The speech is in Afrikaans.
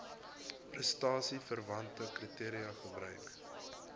prestasieverwante kriteria gebruik